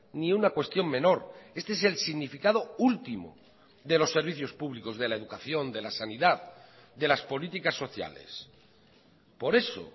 ni una cuestión menor este es el significado último de los servicios públicos de la educación de la sanidad de las políticas sociales por eso